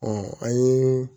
an ye